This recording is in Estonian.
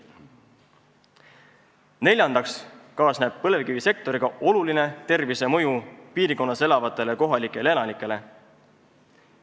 Neljandaks kaasneb põlevkivisektoriga oluline tervisemõju piirkonnas elavatele kohalikele elanikele.